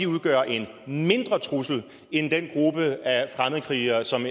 udgør en mindre trussel end den gruppe af fremmedkrigere som